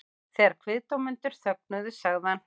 Þegar kviðdómendur þögnuðu sagði hann